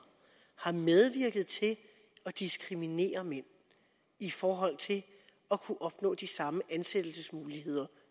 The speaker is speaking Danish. har medvirket til at diskriminere mænd i forhold til at kunne opnå de samme ansættelsesmuligheder